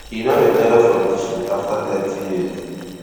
she don retire from teaching afta thirty years